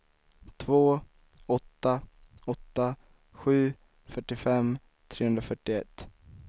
två åtta åtta sju fyrtiofem trehundrafyrtioett